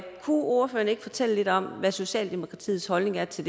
ordføreren ikke fortælle lidt om hvad socialdemokratiets holdning er til